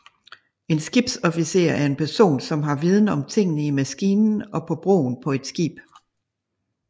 En skibsofficer er en person som har viden om tingene i maskinen og på broen på et skib